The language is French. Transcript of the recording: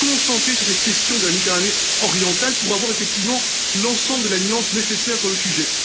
qui s'est concentré sur cette question de la Méditerranée orientale, pour avoir effectivement l'ensemble de la nuance nécessaire sur le sujet.